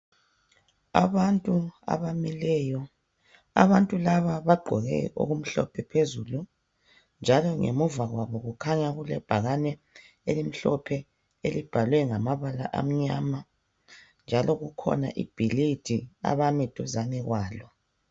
Abantu abamileyo. Abantu laba bagqoke okumhlophe phezulu njalo ngemuva kwabo kukhanya kulebhakane elimhlophe elibhalwe ngamabala amnyama njalo kukhona ibhilidi abame duzane kwalo.